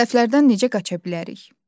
Səhvlərdən necə qaça bilərik?